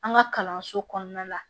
An ka kalanso kɔnɔna la